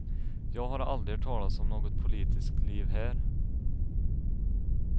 Jag har aldrig hört talas om något politiskt liv här.